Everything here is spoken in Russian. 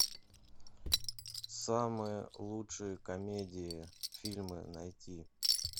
самые лучшие комедии фильмы найти